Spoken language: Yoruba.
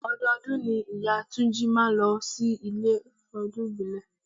Ọdọọdún ni ìyá túnjí máa ń ló sí ilé fún ọdún ìbílẹ̀.